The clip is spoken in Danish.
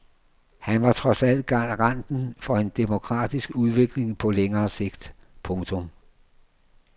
Han var trods alt garanten for en demokratisk udvikling på længere sigt. punktum